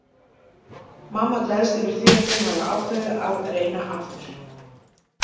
Mamma gleðst yfir því að þau hafi ákveðið að reyna aftur.